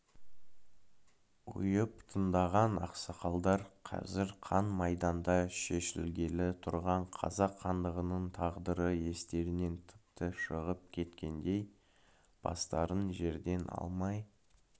ұйып тыңдаған ақсақалдар қазір қан майданда шешілгелі тұрған қазақ хандығының тағдыры естерінен тіпті шығып кеткендей бастарын жерден алмай